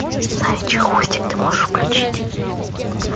заячий хвостик ты можешь включить